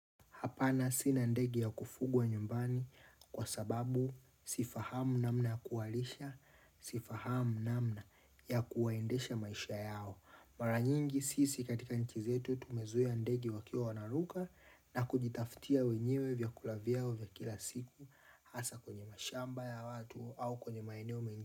Hapana sina ndege ya kufugwa nyumbani kwa sababu sifahamu namna ya kuwalisha, sifahamu namna ya kuwaendesha maisha yao. Mara nyingi sisi katika nchi zetu tumezuia ndege wakiwa wanaruka na kujitaftia wenyewe vyakula vyao vya kila siku hasa kwenye mashamba ya watu au kwenye maeneo mengi.